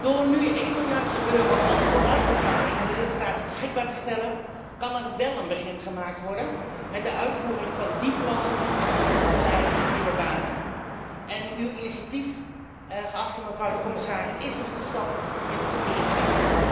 Door nu één miljard euro als vooruitbetaling aan de lidstaten beschikbaar te stellen, kan er wel een begin gemaakt worden met de uitvoering van díe plannen die moeten leiden tot nieuwe banen en uw initiatief, geachte mevrouw de commissaris, is dus een stap in de goede richting.